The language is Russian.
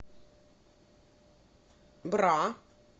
бра